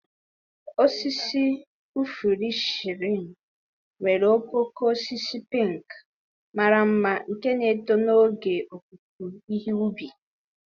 Osisi ifuru cherry nwere okooko osisi pink mara mma nke na-eto n'oge opupu ihe ubi.